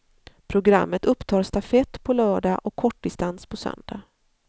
Programmet upptar stafett på lördag och kortdistans på söndag.